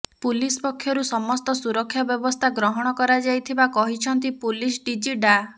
police ପକ୍ଷରୁ ସମସ୍ତ ସୁରକ୍ଷା ବ୍ୟବସ୍ଥା ଗ୍ରହଣ କରାଯାଇଥିବା କହିଛନ୍ତି ପୁଲିସ ଡିଜି ଡା